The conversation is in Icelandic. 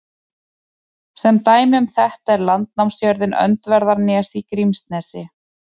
Sem dæmi um þetta er landnámsjörðin Öndverðarnes í Grímsnesi.